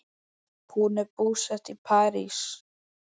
Hún er búsett í París.